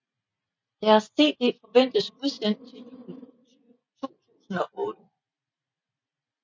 Deres cd forventes udsendt til jul 2008